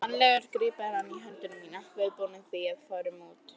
Mannalegur grípur hann í hönd mína, viðbúinn því að við förum út.